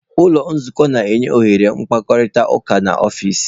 Ụlọ nzukọ na-enye ohere mkparịta ụka n'ọfịs.